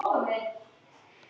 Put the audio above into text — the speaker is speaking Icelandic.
Hún virtist frosin.